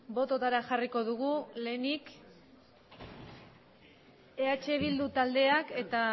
bototara jarriko dugu lehenik eh bildu taldeak eta